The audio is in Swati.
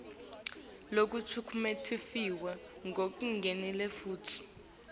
lokucuketfwe kulingene futsi